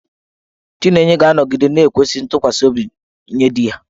Chinenye ga-anọgide na-ekwesị ntụkwasị obi nye di ya.